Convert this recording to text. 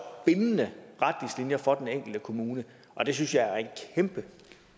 bindende retningslinjer for den enkelte kommune og det synes jeg er en kæmpe